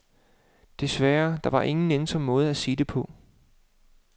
Desværre, der var ingen nænsom måde at sige det på.